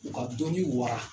U ka dɔnni wara